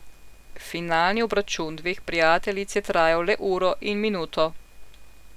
Finalni obračun dveh prijateljic je trajal le uro in minuto.